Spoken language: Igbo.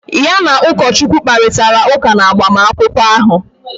Ya na ụkọchukwu kparịtara ụka n'agbamakwụkwọ ahụ